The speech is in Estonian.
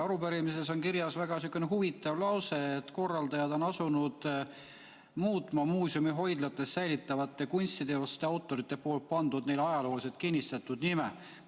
Arupärimises on kirjas sihukene huvitav lause, et korraldajad on asunud muutma muuseumi hoidlates säilitatavatele kunstiteostele autorite pandud, neile ajalooliselt kinnistunud nimetusi.